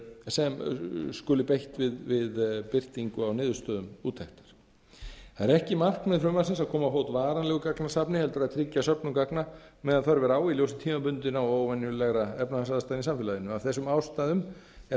sem skuli beitt við birtingu á niðurstöðum úttektar það er ekki markmið frumvarpsins að koma á fót varanlegu gagnasafni heldur að tryggja söfnun gagna meðan þörf er á í ljósi tímabundinna og óvenjulegra efnahagsaðstæðna í samfélaginu af þessum ástæðum er